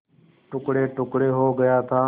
टुकड़ेटुकड़े हो गया था